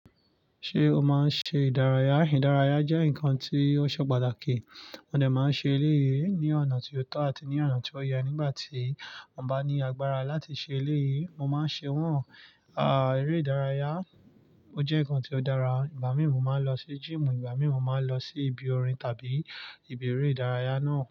Ṣé o máa ń ṣe ìdárayá? Ìdárayá jẹ́ nǹkan tí ó ṣe pàtàkì. Mo dẹ máa ń ṣe eléyìí ní ọ̀nà tí ó tọ́ àti ní ọ̀nà tí ó yẹ nígbà tí mo bá ní agbára láti ṣe eléyìí. Mo máa ń ṣe wọ́n, eré ìdárayá ó jẹ́ nǹkan tí ó dára. Ìgbà míì mo máa ń lọ sí gym. Ìgbà míì mo máa ń lọ sí ibi orin tàbí ibi eré ìdárayá náà.